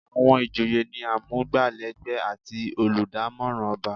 Àwọn ìjòyè ni amugbalegbe àti oludamoran ọba.